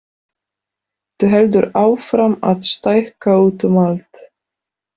Þú heldur áfram að stækka út um allt.